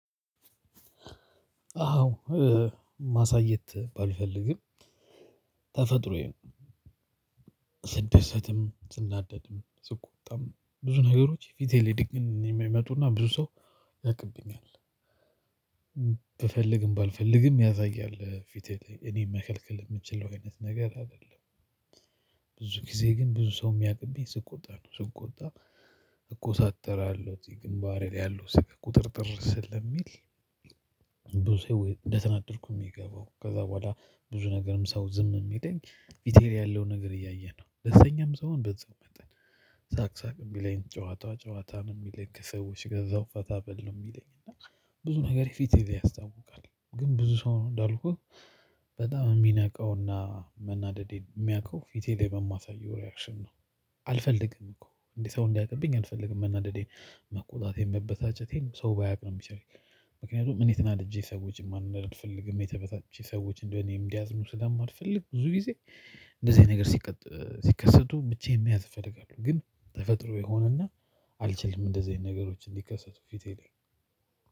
አዎ ማሳየት ባልፈልግም ተፈጥሮዬን ስደሰትም ስናደድም ስቆጣም ብዙ ነገሮች የፊቴ ዲግን የሚመጡና ብዙ ሰው ያቅብኛል። ብፈልግም ባልፈልግም ያሳያል ፊቴ ላይ እኔ መከልከል የምችለው አይነት ነገር አይደለም። ብዙ ጊዜ ግን ብዙ ሰው የሚያቅብኝ ስቆጣ ነው ስቆጣ እኮሳተራለሁ ግንባሬ ላይ ያለው ፊቴ ቁጥርጥር ሲል። ብዙ ሰው እንደተናደድኩ የሚገባው ከዛ በኋላ ብዙ ነገርም ሰው ዝም የሚለኝ ፍቴ ላይ ያለውን ነገር እያየ ነው። ደስተኛም ሲሆን በዛው መጠን ሳቅ ሳቅ ነው የሚለኝ ጨዋታ ጨዋታ ነው የሚለኝ ከሰዎች ጋር በዛው ፈታ በል ነው የሚለኝ እና። ብዙ ነገር ፊቴ ላይ ያስታውቃል ግን ብዙ ሰው እንዳልኩህ በጣም የሚነቀውና መናደዴን የሚያውቀው ፊቴ ላይ በማሳየው ሪያክሽን ነው። አ አልፈልግም እኮ እኔ ሰው እንዲያውቅብኝ አልፈልግም መናደዴን መቆጣቴን መበሳጨቴን ሰው ባያውቅ ነው የሚሻለኝ። ምክንያቱም እኔ ተናድጄ ሰዎችን ማናደድ አልፈልግም እኔ ተበሳጭቼ ሰዎችን በእኔ እንዲያዝኑ ስለማልፈልግ ብዙ ጊዜ። እንደዚህ አይነት ነገር ስቀ ስከሰቱ ብቻዬን መያዝ እፈልጋለሁ። ግን ተፋጥሮዬ ሆነና አልችልም አንደዚህ አይነት ነገሮች እንድከሰቱ ፊቴ ላይ